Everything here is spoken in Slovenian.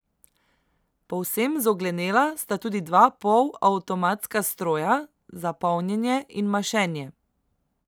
Povsem zoglenela sta tudi dva polavtomatska stroja za polnjenje in mašenje.